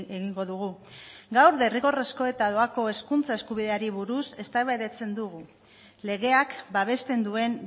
egingo dugu gaur derrigorrezko eta doako hezkuntza eskubideari buruz eztabaidatzen dugu legeak babesten duen